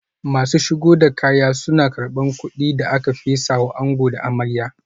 Masu shigo da kaya suna karban kudin da aka fesa wa ango da amarya